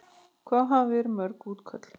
Hafa verið mörg útköll?